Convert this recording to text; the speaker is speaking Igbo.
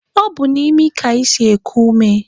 Ọ bụ n'imi ka anyị si eku ume